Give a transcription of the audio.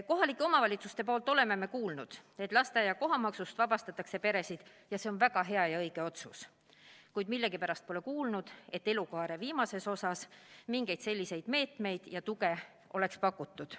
Kohalikelt omavalitsustelt oleme kuulnud, et peresid vabastatakse lasteaia kohamaksust – see on väga hea ja õige otsus –, kuid millegipärast pole kuulnud, et elukaare viimases osas mingeid selliseid meetmeid ja tuge oleks pakutud.